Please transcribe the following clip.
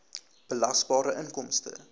belasbare inkomste